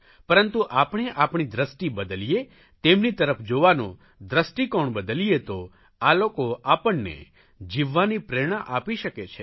પરંતુ આપણે આપણી દ્રષ્ટિ બદલીએ તેમની તરફ જોવાનો દ્રષ્ટિકોણ બદલીએ તો આ લોકો આપણે જીવવાની પ્રેરણા આપી શકે છે